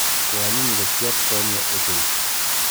Ko anyiny ngokchet konye ochei.